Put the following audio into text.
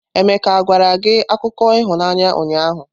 Emeka gwara gị akụkọ ịhụnanya ụnyahụ?